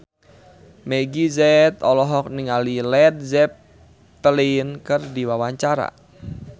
Meggie Z olohok ningali Led Zeppelin keur diwawancara